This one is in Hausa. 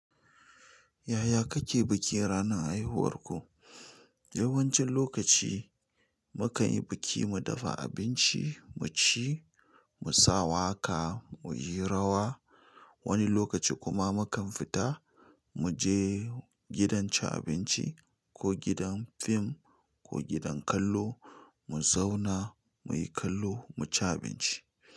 Yaya kake bikin ranar haihuwarku? Yawancin lokaci mukan yi biki mu dafa abinci muci mu sa waka muyi rawa. Wani lokaci kuma mukan fita muje gidan cin abinci ko gidan fim ko gidan kallo mu zauna muyi kallo mu ci abinci.